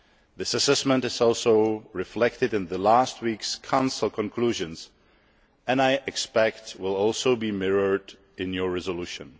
This assessment is also reflected in last week's Council's conclusions and, I expect, will also be mirrored in your resolution.